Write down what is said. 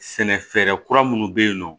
Sɛnɛ fɛɛrɛ kura minnu bɛ yen nɔ